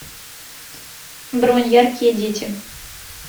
бронь яркие дети